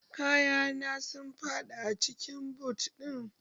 Kaya na sun faɗi daga cikin but